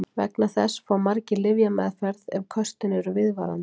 Vegna þessa fá margir lyfjameðferð ef köstin eru viðvarandi.